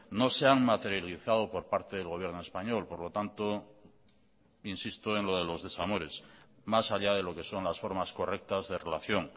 no se han materializado por parte del gobierno español por lo tanto insisto en lo de los desamores más allá de lo que son las formas correctas de relación